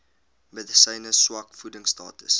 medisyne swak voedingstatus